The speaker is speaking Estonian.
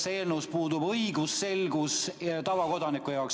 Selles eelnõus puudub õigusselgus tavakodaniku jaoks.